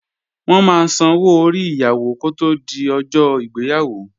Wọ́n máa sanwó orí Ìyàwó kó tí di ọjọ́ ìgbéyàwó